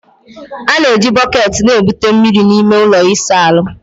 A na-eji bọket na-ebute mmiri n'ime ụlọ ịsa ahụ.